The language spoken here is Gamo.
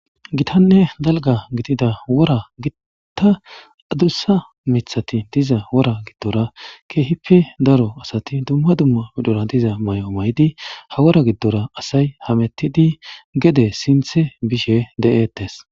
Gitanne dalgga gidida wora gitta adussa mithati diza wora giddora keehippe daro asati dumma dumma pmdhora diza may7o may7idi ha wora giddora asay hamettidi gede sinthe bishe de7ettes.